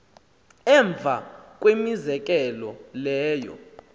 emva kwemizekelo leyo